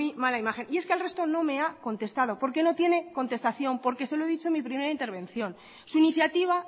muy mala imagen y es que al resto no me ha contestado porque no tiene contestación porque se lo he dicho en mi primera intervención su iniciativa